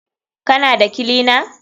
Kana da kilina?